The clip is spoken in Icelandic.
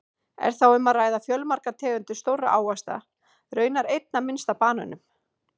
Er þá um að ræða fjölmargar tegundir stórra ávaxta, raunar einna minnst af banönum!